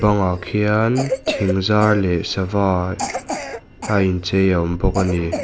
bangah khian thing zar leh sava a in chei a awm bawk ani.